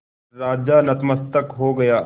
राजा नतमस्तक हो गया